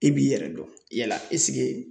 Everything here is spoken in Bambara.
I b'i yɛrɛ dɔn yala